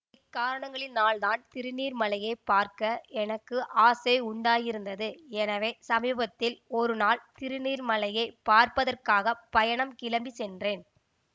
இக்காரணங்களினால் தான் திருநீர்மலையைப் பார்க்க எனக்கு ஆசை உண்டாகியிருந்தது எனவே சமீபத்தில் ஒருநாள் திருநீர் மலையைப் பார்ப்பதற்காக பயணம் கிளம்பி சென்றேன்